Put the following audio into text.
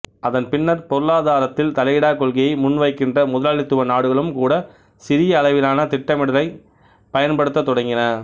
அதன் பின்னர் பொருளாதாரத்தில் தலையிடா கொள்கையை முன் வைக்கின்ற முதலாளித்துவ நாடுகளும் கூட சிறிய அளவிலான திட்டமிடுதலைப் பயன்படுத்தத் தொடங்கின